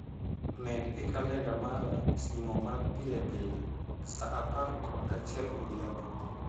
Med e kalenda mara simo mar pilepile saa apar kod achiel odhiambo